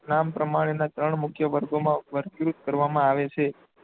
નામ પ્રમાણેના ત્રણ મુખ્ય વર્ગોમાં વર્ગીકૃત કરવામાં આવે છે.